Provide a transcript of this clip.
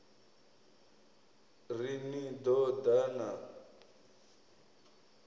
ri ni ḓo ḓa na